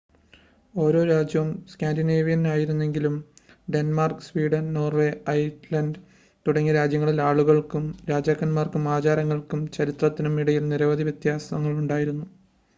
ഓരോ രാജ്യവും സ്കാൻഡിനേവിയൻ ആയിരുന്നെങ്കിലും ഡെൻമാർക്ക് സ്വീഡൻ നോർവേ ഐസ്‌ലാൻ്റ് തുടങ്ങിയ രാജ്യങ്ങളിലെ ആളുകൾക്കും രാജാക്കന്മാർക്കും ആചാരങ്ങൾക്കും ചരിത്രത്തിനും ഇടയിൽ നിരവധി വ്യത്യാസങ്ങൾ ഉണ്ടായിരുന്നു